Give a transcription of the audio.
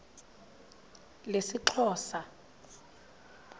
lesixhosa